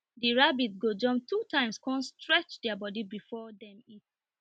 the rabbits go jumpt two times con stretch their body before dem eat